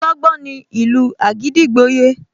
Ọlọ́gbọ́n ní ìlú àgídìgbo yé